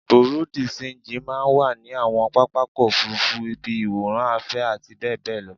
Bùréú dì ṣenjì máa ń wà ní àwọn pápákọ̀ òfuurufú, ibi ìwòran afẹ́ àti bẹ́ẹ̀ bẹ́ẹ̀ lọ